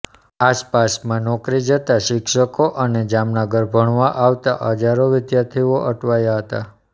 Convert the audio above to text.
આસપાસમાં નોકરી જતા શિશકો અને જામનગર ભણવા આવતા હજારો વિદ્યાર્થીઓ અટવાયા હતા